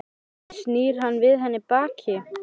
Kannski snýr hann við henni baki?